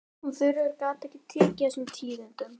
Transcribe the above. Hún Þuríður gat ekki tekið þessum tíðindum.